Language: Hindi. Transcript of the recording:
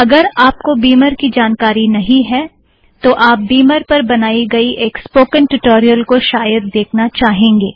अगर आप को बीमर की जानकारी नहीं है तो आप बीमर पर बनाई गयी एक स्पोकेन ट्यूटोरियल को शायद देखना चाहेंगें